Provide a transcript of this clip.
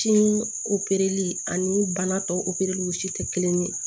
Si opereli ani bana tɔ opereliw si tɛ kelen ye